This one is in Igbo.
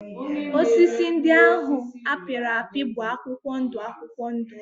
Osisi ndị ahụ a pịrị apị bụ akwụkwọ ndụ akwụkwọ ndụ